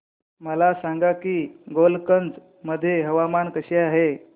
मला सांगा की गोलकगंज मध्ये हवामान कसे आहे